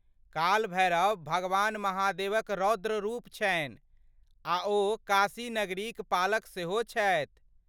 काल भैरव भगवान महादेवक रौद्र रूप छनि आ ओ काशी नगरीक पालक सेहो छथि।